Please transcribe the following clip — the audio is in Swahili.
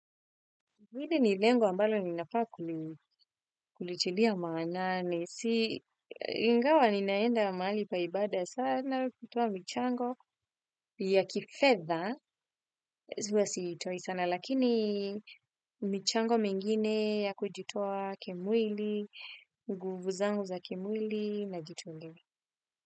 Mwili nilengo ambalo ninafaa kulitilia maanani. Si ingawa ninaenda mahali pa ibada sana kutoa michango ya kifedha. Hua siitoi sana lakini mchango mwingine ya kujitoa kimwili, nguvu zangu za kimwili najitua ngemi.